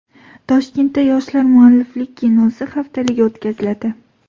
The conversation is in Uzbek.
Toshkentda Yoshlar mualliflik kinosi haftaligi o‘tkaziladi.